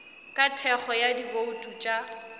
ka thekgo ya dibouto tša